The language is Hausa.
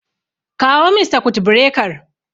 Kawo min sakut birekar